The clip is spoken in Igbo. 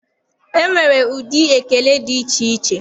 E nwere ụdị ekele dị iche iche.